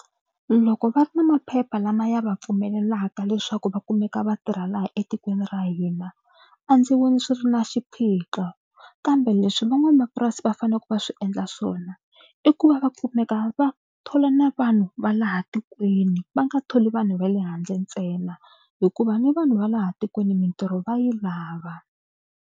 Loko va ri na maphepha lama ya va pfumelelaka leswaku va kumeka va tirha laha etikweni ra hina a ndzi voni swi ri na xiphiqo kambe leswi van'wamapurasi va faneleke va swi endla swona i ku va va kumeka va thola na vanhu va laha tikweni va nga tholi vanhu va le handle ntsena hikuva ni vanhu va laha tikweni mitirho va yi lava.